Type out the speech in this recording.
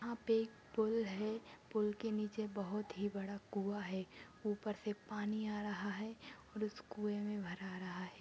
यहा पे एक पूल है पूल के नीचे बहुत ही बड़ा कुँवा है ऊपर से पानी आ रहा है और उस कुए मे हरा-हरा है।